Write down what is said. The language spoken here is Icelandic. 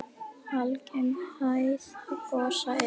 Algeng hæð gosa er